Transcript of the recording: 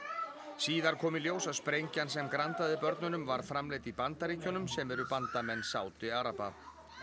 síðar kom í ljós að sprengjan sem grandaði börnunum var framleidd í Bandaríkjunum sem eru bandamenn Sádi araba